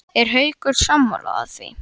Er Haukur sammála því?